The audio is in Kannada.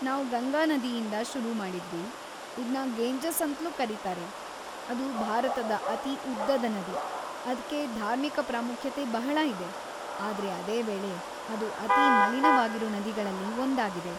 ನಾವ್‌ ಗಂಗಾ ನದಿಯಿಂದ ಶುರು ಮಾಡಿದ್ವಿ, ಇದ್ನ ಗೇಂಜಸ್‌ ಅಂತ್ಲೂ ಕರೀತಾರೆ, ಅದು ಭಾರತದ ಅತಿ ಉದ್ದದ ನದಿ, ಅದ್ಕೆ ಧಾರ್ಮಿಕ ಪ್ರಾಮುಖ್ಯತೆ ಬಹಳಾ ಇದೆ, ಆದ್ರೆ ಅದೇ ವೇಳೆ ಅದು ಅತೀ ಮಲೀನವಾಗಿರೋ ನದಿಗಳಲ್ಲಿ ಒಂದಾಗಿದೆ.